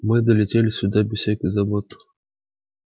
мы долетели сюда без всяких забот